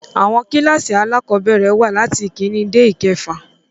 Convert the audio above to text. Àwọn kílkàsì alákọ̀bẹ̀rẹ̀ wà latí ìkíni dé ìkefà.